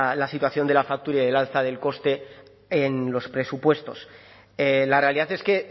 la situación de la factura y del alza del coste en los presupuestos la realidad es que